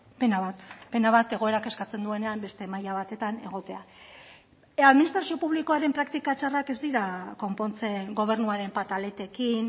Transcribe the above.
pena bat pena bat egoerak eskatzen duenean beste maila batetan egotea administrazio publikoaren praktika txarrak ez dira konpontzen gobernuaren pataletekin